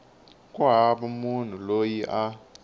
ku hava munhu loyi a